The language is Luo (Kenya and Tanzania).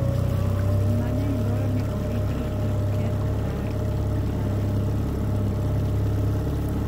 Winy mang'eny dwaro ni oritgi kik keth kar dakgi.